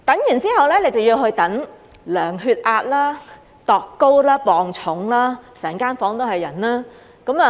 然後，便要去等候量度血壓、身高和體重，整間房間都是人。